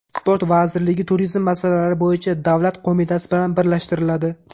Sport vazirligi Turizm masalalari bo‘yicha davlat qo‘mitasi bilan birlashtiriladi.